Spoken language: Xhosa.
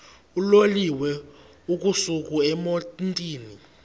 uloliwe ukusuk emontini